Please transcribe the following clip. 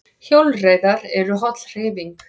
Hjólreiðar eru holl hreyfing